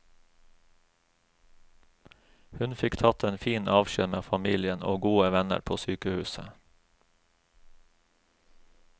Hun fikk tatt en fin avskjed med familien og gode venner på sykehuset.